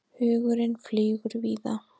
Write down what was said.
Hugurinn flýgur víða.